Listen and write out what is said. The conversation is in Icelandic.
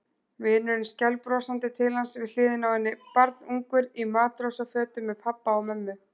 Vinurinn skælbrosandi til hans við hliðina á henni, barnungur í matrósafötum með pabba og mömmu.